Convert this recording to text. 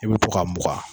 I bɛ to ka mugan